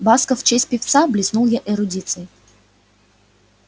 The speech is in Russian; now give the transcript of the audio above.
басков в честь певца блеснул я эрудицией